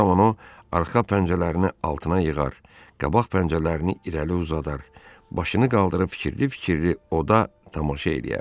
Bu zaman o arxa pəncələrini altına yığar, qabaq pəncələrini irəli uzadar, başını qaldırıb fikirli-fikirli oda tamaşa eləyərdi.